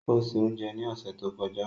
O ṣé oúnjẹ ní ọ̀sẹ̀ tó kọjá.